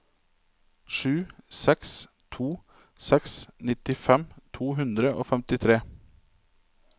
sju seks to seks nittifem to hundre og femtitre